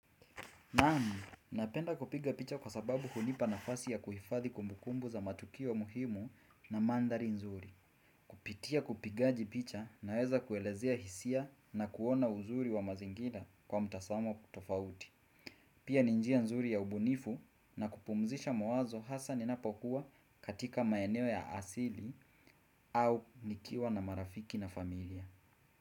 Napenda kupiga picha kwa sababu hunipa nafasi ya kuhifadhi kumbukumbu za matukio muhimu na maandhari nzuri. Kupitia kupigaji picha naweza kuelezea hisia na kuona uzuri wa mazingira kwa mtazamo tofauti. Pia ni njia nzuri ya ubunifu na kupumzisha mawazo hasa ninapokuwa katika maeneo ya asili au nikiwa na marafiki na familia.